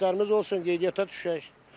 Sənədlərimiz olsun qeydiyyata düşək.